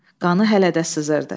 Qanı hələ də sızırdı.